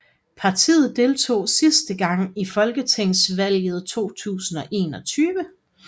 Partiet deltog sidste gang i folketingsvalget 2001